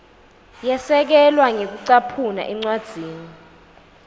yasekelwa ngekucaphuna encwadzini